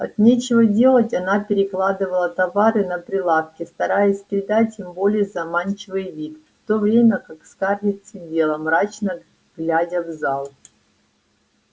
от нечего делать она перекладывала товары на прилавке стараясь придать им более заманчивый вид в то время как скарлетт сидела мрачно глядя в зал